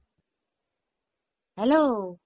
hello